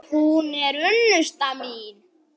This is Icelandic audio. Hún er unnusta mín!